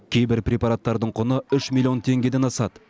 кейбір препараттың құны үш миллион теңгеден асады